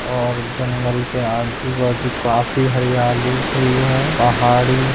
और जंगल के आजु-बाजु काफी हरियाली हुई है पहाड़ी--